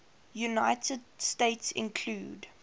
united states include